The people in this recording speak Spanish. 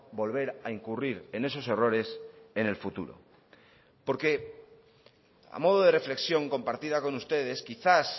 volver a incurrir en esos errores en el futuro porque a modo de reflexión compartida con ustedes quizás